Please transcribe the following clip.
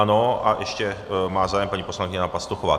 Ano a ještě má zájem paní poslankyně Hana Pastuchová.